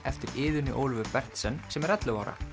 eftir Iðunni Ólöfu Berndsen sem er ellefu ára